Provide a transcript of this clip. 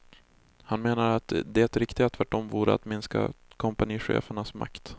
Han menar att det riktiga tvärtom vore att minska kompanichefernas makt.